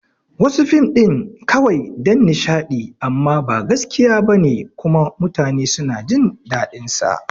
Wasu fim ɗin kawai dan nishadi amma ba gaske bane kuma mutanen suna jin dadin sa